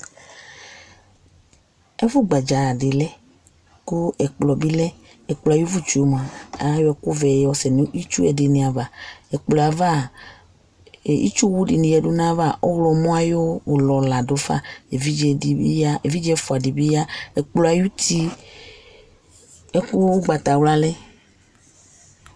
ɛƒʋgbaja di lɛ kʋ ɛkplɔ bi lɛ, ɛkplɔɛ ayi ʋvʋ tsʋɛ mʋa ayɔ ɛkʋ vɛ yɔ sɛnʋ itsʋɛ dini aɣa, ɛkplɔɛ aɣa itsʋ wʋ dini yɛdʋ nʋ aɣa ɔwlɔmɔ ayi ɔlɔ ladʋ ƒa, ɛvidzɛ di bi ya, ɛvidzɛ ɛƒʋa dibi ya, ɛkplɔ ayi ʋti ɔgbatawla lɛ